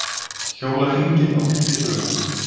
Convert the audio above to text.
Hjóla hringinn á tíu dögum